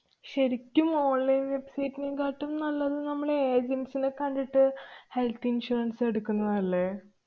ശരിക്കും online website നെക്കാട്ടും നല്ലത് നമ്മള് agents നെ കണ്ടിട്ട് health insurance എടുക്കുന്നതല്ലേ?